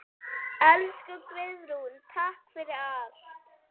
Elsku Guðrún, takk fyrir allt.